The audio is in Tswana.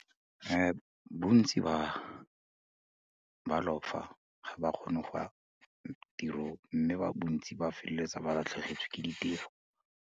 Bontsi ba, ba lofa ga ba kgone go ya tirong mme ba bontsi ba feleletsa ba latlhegetswe ke ditiro.